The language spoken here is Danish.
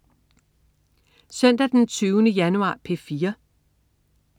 Søndag den 20. januar - P4: